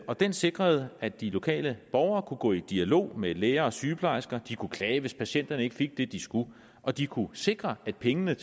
og den sikrede at de lokale borgere kunne gå i dialog med læger og sygeplejersker de kunne klage hvis patienterne ikke fik det de skulle og de kunne sikre at pengene